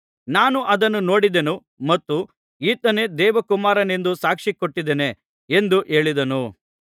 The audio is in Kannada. ನಾನು ಅದನ್ನು ನೋಡಿದ್ದೇನೆ ಮತ್ತು ಈತನೇ ದೇವಕುಮಾರನೆಂದು ಸಾಕ್ಷಿ ಕೊಟ್ಟಿದ್ದೇನೆ ಎಂದು ಹೇಳಿದನು